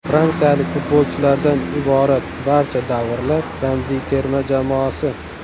Fransiyalik futbolchilardan iborat barcha davrlar ramziy terma jamoasi.